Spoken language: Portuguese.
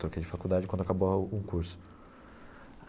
Troquei de faculdade quando acabou a o curso.